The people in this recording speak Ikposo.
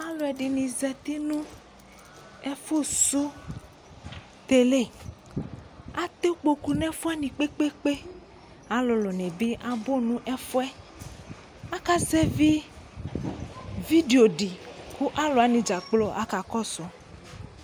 ɑluɛɗiɲi ʒɑti ɲɛfω ṣωtɛlé ɑtɛ ĩkpoku ɲɛfuɛwɑɲi kpɛkpɛkpɛ ɑluluɲibi ɑbu ɲɛfuɛ ɑkɑzɛvi ʋiɖioɖi kɑ lωwɑni ɗzɑkplo ɑkɑkɔsω